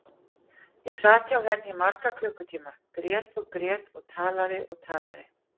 Ég sat hjá henni í marga klukkutíma, grét og grét og talaði og talaði.